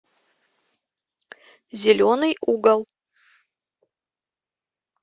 зеленый угол